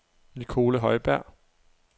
Nicole Højberg